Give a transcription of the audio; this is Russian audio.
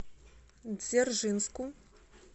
дзержинску